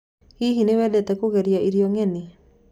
Hihi nĩwendete kũgeria irio ngeni.